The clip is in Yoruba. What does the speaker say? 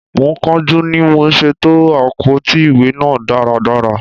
Mo ń kánjú ni mò ṣe to àpótí ìwé náà dáradára.